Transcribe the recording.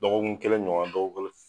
Dɔgɔkun kelen ɲɔgɔn na dɔgɔkun kelen.